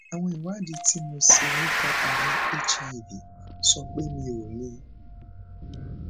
àwọn ìwádìí tí mo ṣe nípa àrùn hiv sọ pe mí o ni